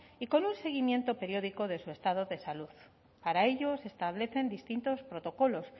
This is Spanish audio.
y con un seguimiento periódico de su estado de salud para ello se establecen distintos protocolos